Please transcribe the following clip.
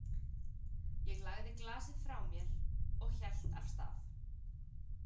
Ég lagði glasið frá mér og hélt af stað.